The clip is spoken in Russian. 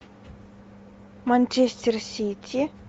манчестер сити